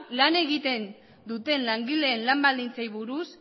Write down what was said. lan egiten duten langileen lan baldintzei buruz